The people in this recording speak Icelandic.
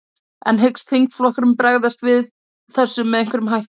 En hyggst þingflokkurinn bregðast við þessu með einhverjum hætti?